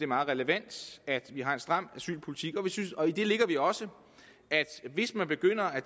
meget relevant at vi har en stram asylpolitik og i det lægger vi også at hvis man begynder at